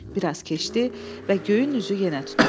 Bir az keçdi və göyün üzü yenə tutuldu.